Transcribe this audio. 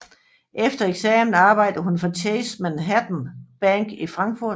Efter eksamen arbejdede hun for Chase Manhattan Bank i Frankfurt